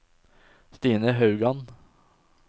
Stine Haugan